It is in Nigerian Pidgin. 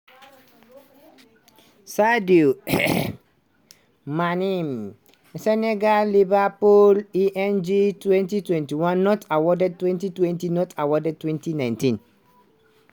sadio mané senegal - liverpool (eng) 2021: not awarded 2020: not awarded 2019: